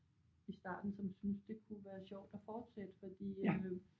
I starten som syntes det kunne være sjovt at fortsætte fordi øh